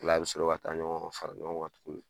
O la i bɛ sɔrɔ ka taa ɲɔgɔn fara ɲɔgɔn tugun